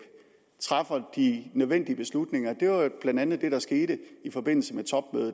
træffer de nødvendige beslutninger det var jo blandt andet det der skete i forbindelse med